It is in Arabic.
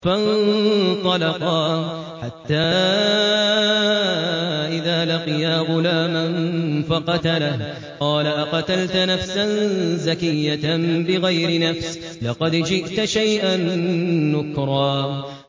فَانطَلَقَا حَتَّىٰ إِذَا لَقِيَا غُلَامًا فَقَتَلَهُ قَالَ أَقَتَلْتَ نَفْسًا زَكِيَّةً بِغَيْرِ نَفْسٍ لَّقَدْ جِئْتَ شَيْئًا نُّكْرًا